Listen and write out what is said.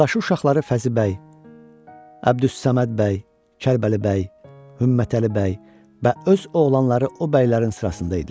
Qardaşı uşaqları Fəzi bəy, Əbdüssəməd bəy, Kərbəli bəy, Hümmətəli bəy və öz oğlanları o bəylərin sırasında idilər.